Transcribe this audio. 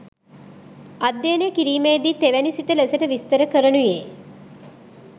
අධ්‍යනය කිරීමේදී තෙවැනි සිත ලෙසට විස්තර කරනුයේ